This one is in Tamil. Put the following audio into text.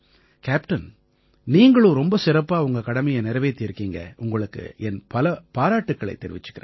கேப்டன் நீங்களும் ரொம்ப சிறப்பா உங்க கடமையை நிறைவேத்தி இருக்கீங்க உங்களுக்கு என் பல பாராட்டுக்களைத் தெரிவிக்கறேன்